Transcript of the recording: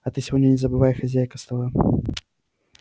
а ты сегодня не забывай хозяйка стола